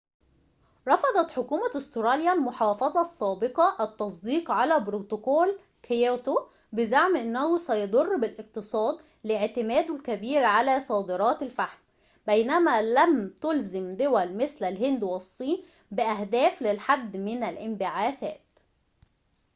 رفضت حكومة أستراليا المحافظة السابقة التصديق على بروتوكول كيوتو بزعم أنه سيضر بالاقتصاد لاعتماده الكبير على صادرات الفحم بينما لم تُلزم دول مثل الهند والصين بأهداف للحد من الانبعاثات